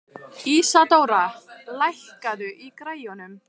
Ísadóra, lækkaðu í græjunum.